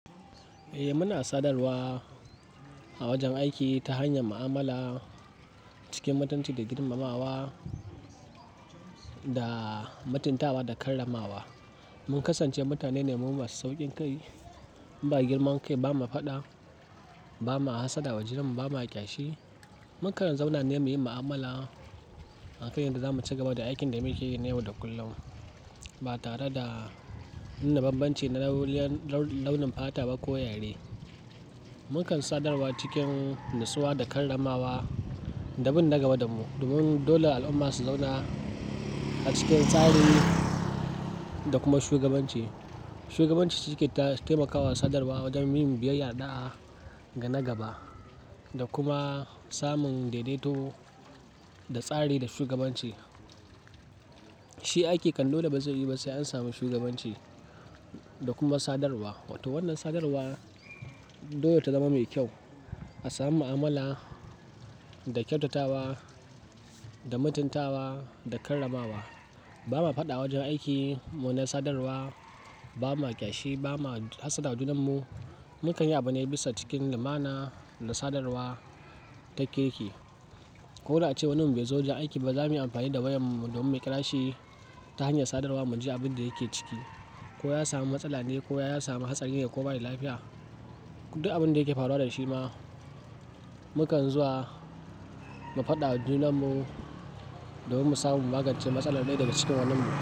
Eh muna sadarwa a wajen aiki ta hanyar mu'amala cikin mutunci da girmamawa da mutuntawa da karramawa. Mun kasance mutane ne mun masu saukin kai, ba girmankai, ba ma faɗa, ba ma hassada wa junanmu, ba ma kyashi. Mukan zauna ne muyi mu'amala a kan yadda zamu ci gaba da aikin da muke yi na yau da kullum ba tare da nuna bambanci na launin fata ba ko yare. Mukan sadarwa cikin natsuwa da karramawa da bin na gaba da mu, domin dole al'umma su zauna a cikin tsari da kuma shugabanci. Shugabanci cikin taimakawa sadarwa wajen yin biyayya, da da'a ga na gaba da kuma samun daidaito da tsari da shugabanci. Shi aiki kam dole bazai yiwu ba sai an samu shugabanci da kuma sadarwa. To wannan sadarwa dole ta zama mai kyau a samu mu'amala da kyautatawa da mutuntawa da karramawa. Ba ma faɗa a wajen aiki mu na sadarwa, ba ma kyashi, ba ma hassada wa junan mu. Mukan yi abune bisa cikin limana da sadarwa ta kirki. Ko da ace wanin mu bai zo wajen aiki ba za muyi amfani da wayan mu domin mu kira shi ta hanyar sadarwa mu ji abin da yake ciki. Ko ya samu matsala ne ko ya samu hatsarin ne ko bayi da lafiya. Duk abin da yake faruwa da shi ma mukan zuwa mu faɗa a junan mu domin mu samu magancen matsalar ɗaya daga cikin wannan mu.